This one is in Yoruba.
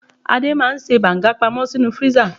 Adé máa ń ṣe banga pamó sínú freezer.